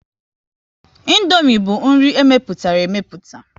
Indomie bụ nri e mepụtara emeputa